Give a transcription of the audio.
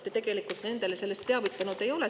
Neid te sellest tegelikult teavitanud ei ole.